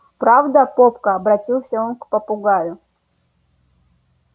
правда попка обратился он к попугаю